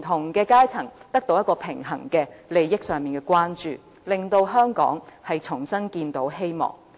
同階層得到平衡的利益上的關注，令香港重新看見希望。